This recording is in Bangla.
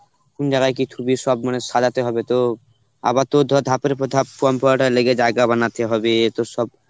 কোন জায়গায় কি থুবি সব মানে সাজাতে হবে তো আবার তোর ধর ধাপের উপর ধাপ কম্পাউটার লেগে জায়গা বানাতে হবে তোর সব